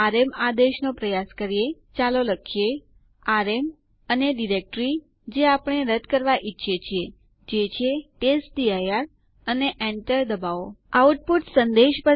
આ બે આદેશો નો પ્રયાસ કરો અને અસાઇનમેન્ટ તરીકે તમારી જાતે આઉટપુટ શોધો